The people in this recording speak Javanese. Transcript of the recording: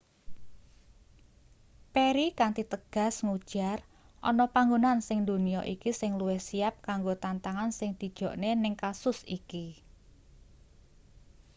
perry kanthi tegas ngujar ana panggonan sing ndonya iki sing luwih siyap kanggo tantangan sing dijokne ning kasus iki